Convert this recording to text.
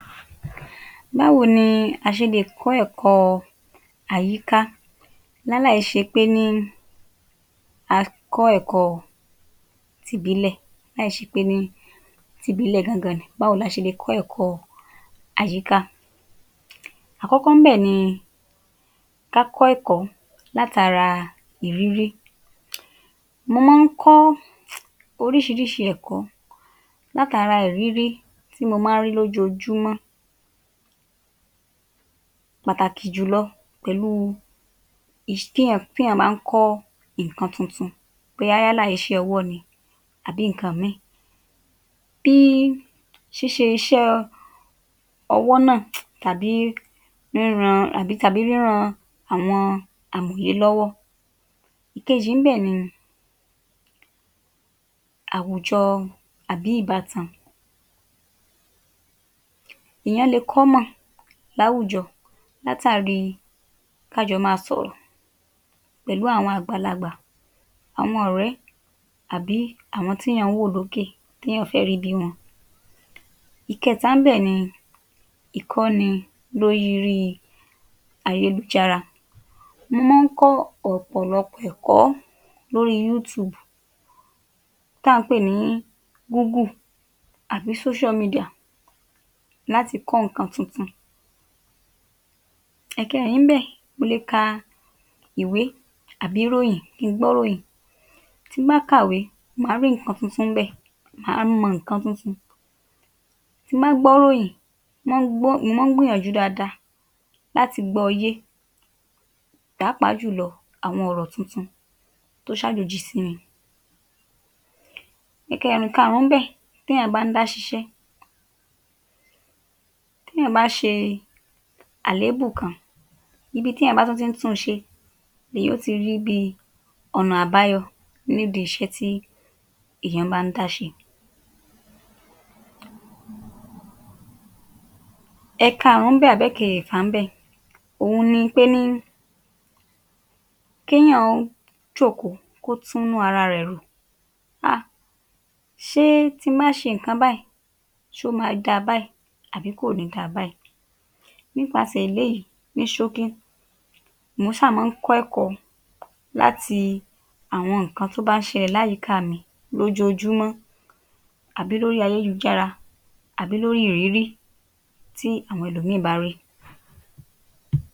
Báwo ni a ṣe le kọ́ ẹ̀kọ́ àyíká láláì ṣe pé ní a kọ́ eko tìbílẹ̀, láì ṣe pé ní ti ìbílẹ̀ gangan ni. Báwo la ṣe le kọ́ ẹ̀kọ́ àyíká? Àkọ́kọ́ ńbẹ̀ ni ká kọ́ ẹ̀kọ́ látara ìrírí. Mo mọ́ ń kọ́ oríṣiiríṣii ẹ̀kọ́ látara ìrírí tí mo má ń rí lójoojúmọ́. Pàtàkì jù lọ pẹ̀lu téyàn bá ń kọ́ ǹkan tuntun, bóyá yálà iṣẹ́ ọwọ́ ni àbí ǹkan míì. Bí ṣíṣe iṣẹ́ ọwọ́ náà àbí ríran tàbí ríran àwọn? lọ́wọ́. Ìkejì ńbẹ̀ ni àwùjọ àbí ìbátan, ìyẹn lè (common) láwùjọ látàrí ká jọ máa sọ̀rọ̀ pẹ̀lú àwọn àgbàlagbà, àwọn ọ̀rẹ́, àbí àwọn téyàn ń wò lókè, téyàn fé rí bíi wọ́n. Ìkẹẹ̀ta ńbè ni ìkọ́ni lórí ayélujára. Mo mọ́ ń kọ́ ọ̀pọ̀lọpọ̀ ẹ̀kọ́ lórí (YouTube) tá ǹ pè ní (Google) àbí (social media) láti kọ́ ǹkan tuntun. Ẹ̀kẹẹ̀rin ńbẹ̀ mo lè ka ìwé, àbí ìròyìn, kí n gbọ́ ìròyìn. Tí n bá kàwé, màá rí ǹkan tuntun ńbẹ̀, màá mọ ǹkan tuntun. Tí n bá gbọ́ ìròyìn, mo mọ́ ń gbọ́, mo má ń gbìyànjú dáadáa láti gbọ́ ọ yé, pàápàá jù lọ àwón ọ̀rọ̀ tuntun tó sàjòjì sí mi. Ìkẹẹ̀rin Ìkaàrún ńbẹ̀, téyàn bá ń dá ṣiṣẹ́, téyàn bá ṣe àlébù kan, ibi téyàn bá tún ti ń tún un ṣe, lèyàn ó ti rí bíi ọ̀nà àbáyọ nídìí iṣẹ́ tí èyàn bá ń dá ṣe. Ẹ̀kaàrún ńbẹ̀ àbí ẹ̀kẹfà ńbẹ̀ òhun ni pé ní kèyàn jókòó kó tún ara rẹ̀ rò um Ṣé tí m bá ṣe ǹkan báyìí, ṣé ó máa dáa báyìí àbí kò ní dáa báyìí. Nípasẹ̀ eléyìí, ní ṣókí, mo sáà mọ́ ń kọ́ ẹ̀kọ́ láti àwọn ǹkan tó bá ṣẹlẹ̀ láàyíká mi lójoojúmọ́ àbí lórí ayélujára àbí lórí ìrírí tí àwọn ẹlòmíì bá rí.